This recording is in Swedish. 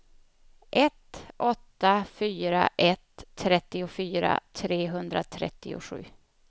ett åtta fyra ett trettiofyra trehundratrettiosju